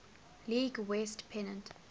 league west pennant